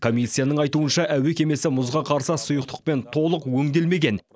комиссияның айтуынша әуе кемесі мұзға қарсы сұйықтықпен толық өңделмеген